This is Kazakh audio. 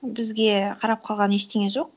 бізге қарап қалған ештеңе жоқ